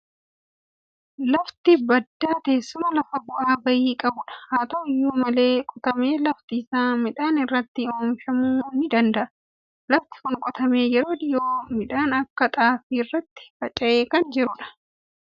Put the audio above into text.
Lafti baddaa teessuma lafaa bu'aa ba'ii qabudha. Haa ta'u iyyuu malee qotamee lafti isaa midhaan irratti oomishamuu ni danda'a. Lafti kun qotamee yeroo dhiyoo midhaan akka xaafii irratti faca'ee kan jirudha.